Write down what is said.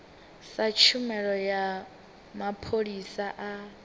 sa tshumelo ya mapholisa a